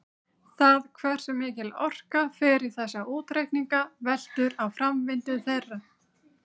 Það hversu mikil orka fer í þessa útreikninga veltur á framvindu þeirra.